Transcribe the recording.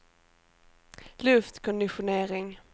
luftkonditionering